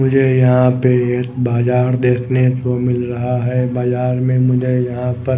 मुझे यहाँ पे एक बाजार देखने को मिल रहा है बाजार में मुझे यहाँ पर--